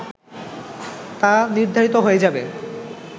তা নির্ধারিত হয়ে যাবে